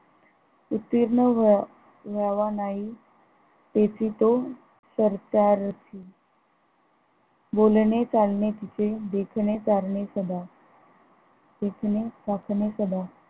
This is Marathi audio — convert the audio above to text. उत्तीर्ण वे वैवनाईक तेचि तो सरकारची बोलणे चालणे तिचे देखणे चालणे स्वभाव देखणे चाखणे स्वभाव